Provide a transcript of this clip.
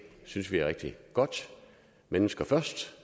synes vi er rigtig godt mennesker først